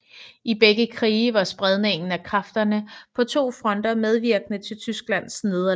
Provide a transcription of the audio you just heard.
I begge krige var spredningen af kræfterne på to fronter medvirkende til Tysklands nederlag